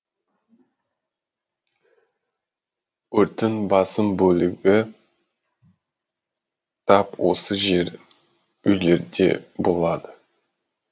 өрттің басым бөлігі тап осы жер үйлерде болады